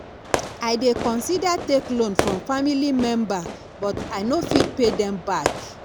i dey consider take loan from family member but i no fit pay dem back